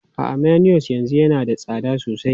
A'a, mayonnaise yanzu yana da tsada sosai.